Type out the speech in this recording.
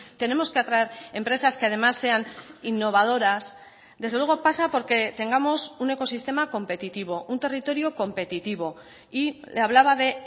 tenemos que atraer empresas que además sean innovadoras desde luego pasa porque tengamos un ecosistema competitivo un territorio competitivo y le hablaba de